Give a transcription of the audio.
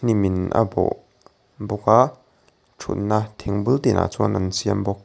min a bawh bawk a thutna thing bulteah chuan an siam bawk.